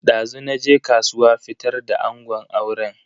Dazu naje kasuwa fitar da angon auren.